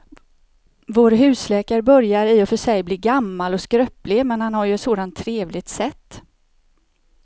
Vår husläkare börjar i och för sig bli gammal och skröplig, men han har ju ett sådant trevligt sätt!